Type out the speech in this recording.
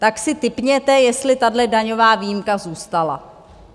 Tak si tipněte, jestli tahle daňová výjimka zůstala?